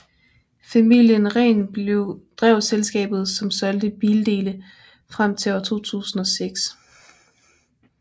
Familien Rehn drev selskabet som solgte bildele frem til år 2006